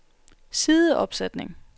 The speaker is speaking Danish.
sideopsætning